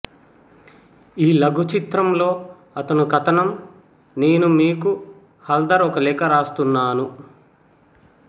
ఈ లఘు చిత్రంలో అతను కథనం నేను మీకు హల్ధర్ ఒక లేఖ రాస్తున్నాను